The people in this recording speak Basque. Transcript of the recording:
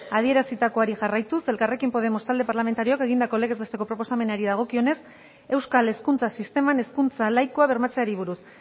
adierazitakoari jarraituz elkarrekin podemos talde parlamentarioak egindako legez besteko proposamenari dagokionez euskal hezkuntza sisteman hezkuntza laikoa bermatzeari buruz